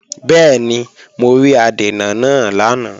Bẹ́ẹ̀ni, mo rí adènà náà lánàá